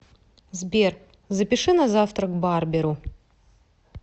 сбер запиши на завтра к барберу